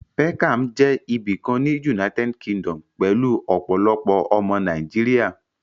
Peckham jẹ́ ibìkan ní United Kingdom pẹ̀lú ọ̀pọ̀lọpọ̀ ọmọ Nàìjíríà